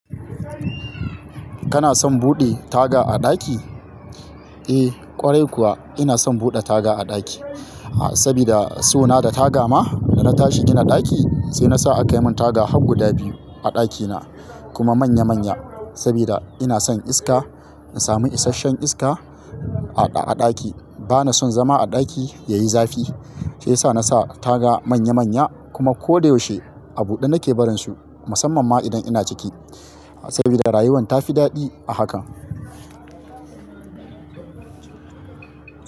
Kana son buɗe taga a ɗaki? Eh, ƙwarai kuwa ina son buɗe taga a ɗaki, ah, sabida so na da taga ma da na tashi gina ɗaki sai na sa a kayi mun taga har guda biyu a ɗakina kuma manya-manya sabida ina son iska. In samu isashen iska a-a ɗaki bana son zama a ɗaki yayi zafi shiyasa na sa taga manya-manya kuma kodayaushe a buɗe nake barin su musamman ma idan ina ciki sabida rayuwar tafi daɗi a haka.